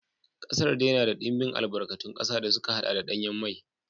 Kasar dai na da dimbin albarkatun kasa da suka haɗa da danyen mai.